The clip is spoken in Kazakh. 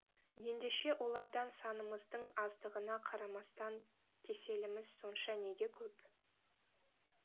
ендеше олардан санымыздың аздығына қарамастан кеселіміз сонша неге көп